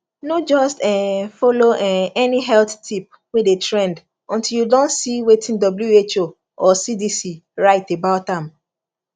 no just um follow um any health tip wey dey trend until you don see wetin who or cdc write about am